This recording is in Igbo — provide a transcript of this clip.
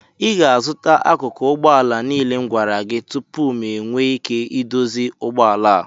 Ị ga-azụta akụkụ ụgbọ ala niile m gwara gị tupu m enwee ike ịdozi ụgbọ ala a